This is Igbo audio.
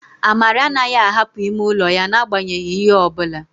Amara anaghị ahapụ ime ụlọ ya n'agbanyeghị ihe ọ bụla